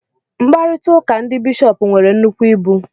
Mkparịta ụka ndị bishọp nwere nnukwu ibu